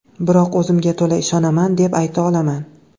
Biroq o‘zimga to‘la ishonaman, deb ayta olaman.